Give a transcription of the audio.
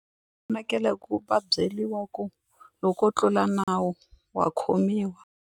Fanekele ku va byeriwa ku loko wo tlula nawu wa khomiwa.